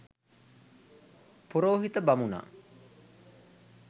පුරෝහිත බමුණා